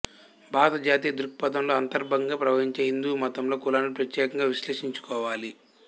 భారతజాతీయదృక్పథంలో అంతర్భాగంగా ప్రవహించే హిందూమతంలో కులాన్ని ప్రత్యేకంగా విశ్లేషించు కోవాలి